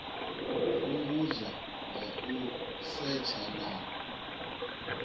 fhungudzwa nga u setsha na